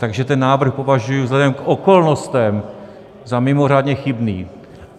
Takže ten návrh považuji vzhledem k okolnostem za mimořádně chybný.